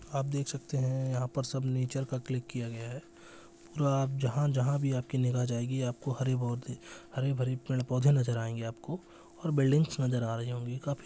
आप देख सकते है यह पर सब नेचर का क्लिक किया गया है और जहां जहां भी आपकी निगाह जाएगी आपको हरे पौधे हरे भरे पेड़-पौधे नजर आएंगे आपको और बिल्डिंग्स नजर आ रही होंगी आपको--